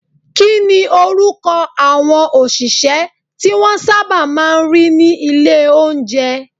Kíni orúkọ àwọn òṣìṣẹ́ tí wọ́n sábà máa ń rí ní ilé oúnjẹ?